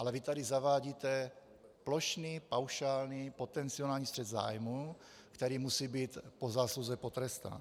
Ale vy tady zavádíte plošný paušální potenciální střet zájmů, který musí být po zásluze potrestán.